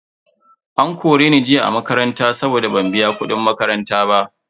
An kore ni a makaranta jiya saboda ban biya kudin makaranta ba.